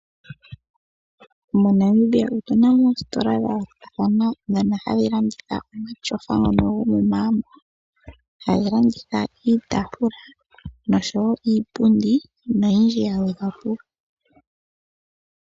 MoNamibia otuna mo oositola dha yoolokathana ndhono hadhi landitha omatyofa ngono gomomagumbo, hadhi landitha iitaafula noshowo iipundi noyindji ya gwedhwa po.